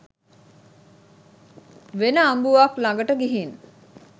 වෙන අඹුවක් ලඟට ගිහින්